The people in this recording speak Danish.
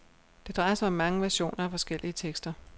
Det drejer sig om mange versioner af forskellige tekster.